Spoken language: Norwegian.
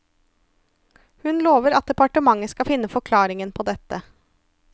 Hun lover at departementet skal finne forklaringen på dette.